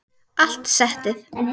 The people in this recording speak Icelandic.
Allt settið